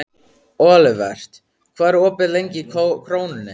Olivert, hvað er opið lengi í Krónunni?